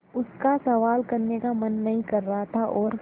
उसका सवाल करने का मन नहीं कर रहा था और